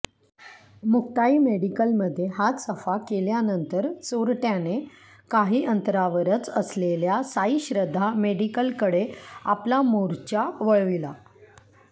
मुक्ताई मेडिकलमध्ये हात सफा केल्यानंतर चोरट्याने काही अंतरावरच असलेल्या साईश्रद्धा मेडिकलकडे आपला मोर्चा वळविला